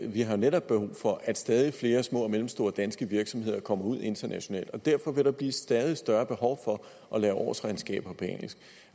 vi har netop brug for at stadig flere små og mellemstore danske virksomheder kommer ud internationalt og derfor vil der blive stadig større behov for at lave årsregnskaber